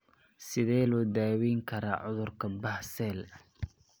Sidee loo daweyn karaa cudurka Behcet?